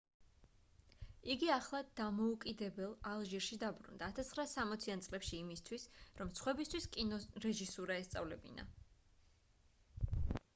იგი ახლად დამოუკიდებელ ალჟირში დაბრუნდა 1960-იან წლებში იმისთვის რომ სხვებისთვის კინორეჟისურა ესწავლებინა